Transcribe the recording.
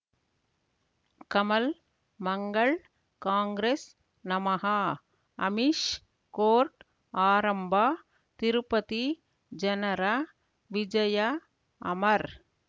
ಕಮಲ್ ಮಂಗಳ್ ಕಾಂಗ್ರೆಸ್ ನಮಃ ಅಮಿಷ್ ಕೋರ್ಟ್ ಆರಂಭ ತಿರುಪತಿ ಜನರ ವಿಜಯ ಅಮರ್